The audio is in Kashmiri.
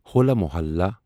ہولا محلہ